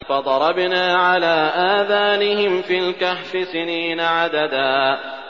فَضَرَبْنَا عَلَىٰ آذَانِهِمْ فِي الْكَهْفِ سِنِينَ عَدَدًا